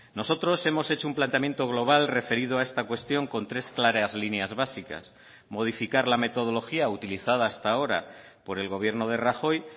nosotros hemos hecho un planteamiento global referido a esta cuestión con tres claras líneas básicas modificar la metodología utilizada hasta ahora por el gobierno de rajoy